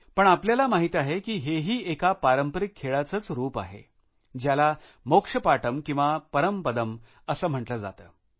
पण आपल्याला माहित आहे काकी हा ही एका पारंपारिक खेळाचेच रूप आहे ज्याला मोक्षपाटम किंवा परमपदम असे म्हंटले जाते